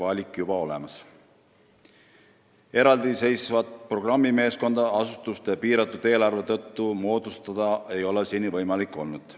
Asutuste piiratud eelarve tõttu ei ole seni olnud võimalik moodustada eraldiseisvat programmimeeskonda.